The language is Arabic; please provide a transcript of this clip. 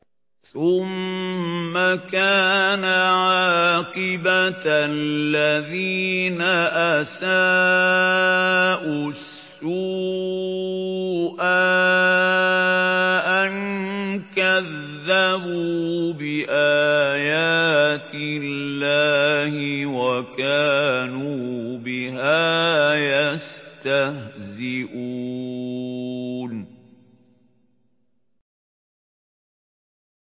ثُمَّ كَانَ عَاقِبَةَ الَّذِينَ أَسَاءُوا السُّوأَىٰ أَن كَذَّبُوا بِآيَاتِ اللَّهِ وَكَانُوا بِهَا يَسْتَهْزِئُونَ